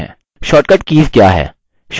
shortcut keys क्या हैं